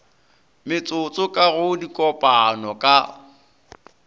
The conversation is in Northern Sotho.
metsotso ka go dikopano ka